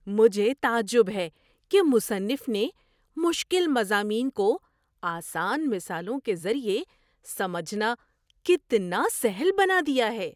مجھے تعجب ہے کہ مصنف نے مشکل مضامین کو آسان مثالوں کے ذریعے سمجھنا کتنا سہل بنا دیا ہے۔